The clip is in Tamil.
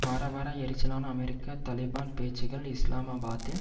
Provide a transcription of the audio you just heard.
வர வர எரிச்சலான அமெரிக்க தலிபான் பேச்சுக்கள் இஸ்லாமாபாத்தில்